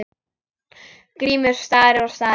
Grímur starir og starir.